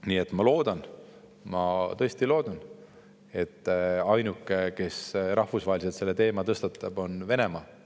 Nii et ma tõesti loodan, et ainuke, kes rahvusvaheliselt selle teema tõstatab, on Venemaa.